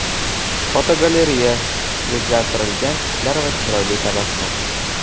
Fotogalereya: O‘zgartirilgan tishlar va chiroyli tabassum.